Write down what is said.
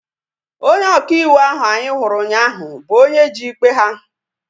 Onye ọka iwu ahu anyị hụrụ ụnyaahụ bụ onye ji ikpe ha